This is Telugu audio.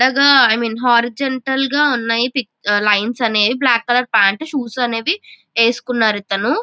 పెద్దగా ఐ మీన్ హారిజాంటల్ గ ఉన్నాయ్ పిక్చ లైన్స్ అనేవి బ్లాక్ కలర్ ప్యాంటు షూస్ అనేవి వేసుకున్నారు ఇతను.